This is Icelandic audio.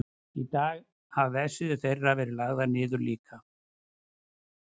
í dag hafa vefsíður þeirra verið lagðar niður líka